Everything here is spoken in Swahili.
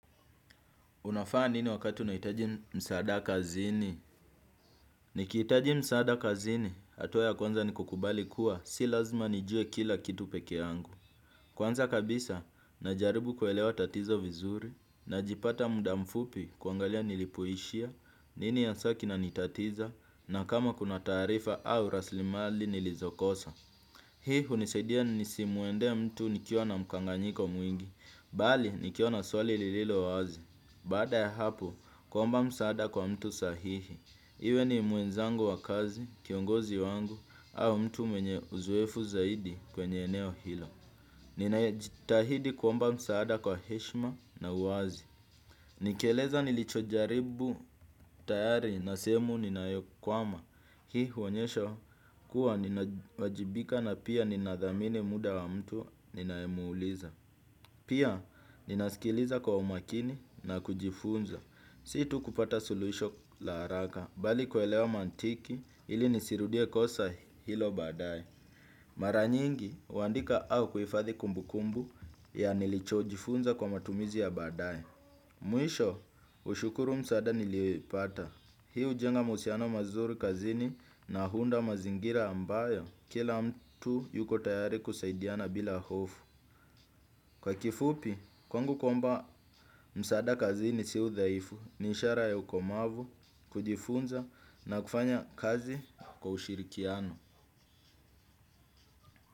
Unafanya nini wakati unahitaji msaada kazini? Nikihitaji msaada kazini, hatua ya kwanza ni kukubali kuwa, si lazima nijue kila kitu pekee yangu. Kwanza kabisa, najaribu kuelewa tatizo vizuri, najipata mda mfupi kuangalia nilipoishia, nini hasa kinanitatiza, na kama kuna taarifa au rasilimali nilizokosa. Hii hunisidia nisimuendee mtu nikiwa na mkanganyiko mwingi, bali nikiwa na swali lililo wazi. Baada ya hapo, kuomba msaada kwa mtu sahihi. Iwe ni mwenzangu wa kazi, kiongozi wangu, au mtu mwenye uzoefu zaidi kwenye eneo hilo. Ninajitahidi kuomba msaada kwa heshima na uwazi. Nikieleza nilichojaribu tayari na sehemu ninayokwama. Hii huonyesha kuwa ninawajibika na pia ninathamini muda wa mtu ninayemuuliza. Pia ninaskiliza kwa umakini na kujifunza. Si tu kupata suluhisho la haraka, bali kuelewa maantiki ili nisirudie kosa hilo baadaye. Mara nyingi, huandika au kuhifadhi kumbukumbu ya nilichojifunza kwa matumizi ya baadae. Mwisho, hushukuru msaada nilioipata. Hii hujenga muhusiano mazuri kazini na huunda mazingira ambayo, kila mtu yuko tayari kusaidiana bila hofu. Kwa kifupi, kwangu kuomba msaada kazini si udhaifu ni ishara ya ukomavu, kujifunza na kufanya kazi kwa ushirikiano.